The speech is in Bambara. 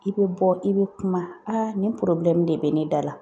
I be bɔ i be kuma nin de be ne da la